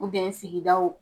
sigidaw